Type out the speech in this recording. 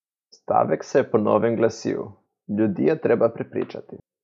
Stavek se je po novem glasil: "Ljudi je treba prepričati.